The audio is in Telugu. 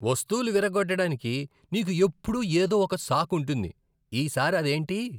వస్తువులు విరగ్గొట్టడానికి నీకు ఎప్పుడూ ఏదో ఒక సాకు ఉంటుంది. ఈ సారి అదేంటి?